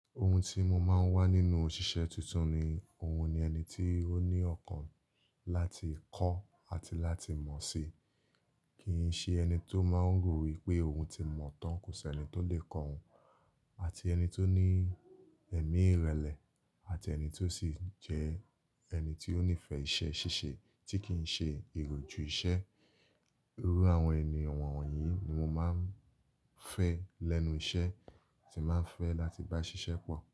Ohun tí mo máa ń wá nínú òṣìṣẹ́ tuntun ni òun ni ẹni tí ó ní ọkàn láti kọ́ àti láti mọ̀ si, kì í ṣe ẹni tó máa ń rò wípé òun ti mọ̀ tán, kò sì ẹni tó lè kọ́ òun. Àti ẹni tó ní ẹ̀mí ìrẹlẹ̀, àti ẹni tó sì jẹ́ ẹni tí ó nífẹ̀ẹ́ iṣẹ́ ṣíṣe tí kì í ṣe iròjù iṣẹ́. Irú àwọn ẹni wọ́nwọ̀nyí ni mo máa ń fẹ́ lẹ́nu iṣẹ́, tí máa ń fẹ́ láti bá ṣiṣẹ́ pọ̀.